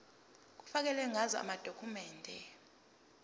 kufakelwe ngazo amadokhumende